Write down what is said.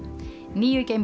nýju